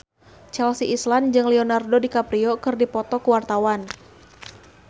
Chelsea Islan jeung Leonardo DiCaprio keur dipoto ku wartawan